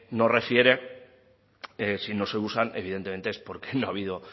nos refiere si no se usan evidentemente es porque no ha habido